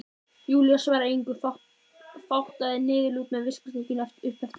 Júlía svaraði engu, fátaði niðurlút með viskustykkinu upp eftir buxunum.